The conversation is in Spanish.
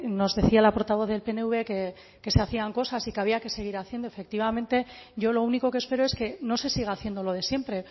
nos decía la portavoz del pnv que se hacían cosas y que había que seguir haciendo efectivamente yo lo único que espero es que no se siga haciendo lo de siempre